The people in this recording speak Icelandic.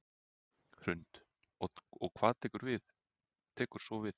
Hrund: Og hvað tekur svo við?